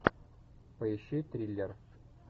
поищи триллер